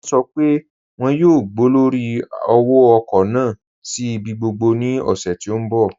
Wọn sọ́ pé wọn yóò gbọ̀lọ́rí òwò-ọ̀kọ̀ naà sí ibi gbogbo ní òṣè tí n bọ̀.